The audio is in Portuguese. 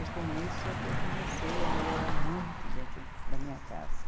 E com isso é que eu comecei a melhorar muito dentro da minha casa.